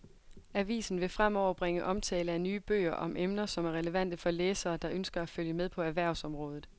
Avisen vil fremover bringe omtale af nye bøger om emner, som er relevante for læsere, der ønsker at følge med på erhvervsområdet.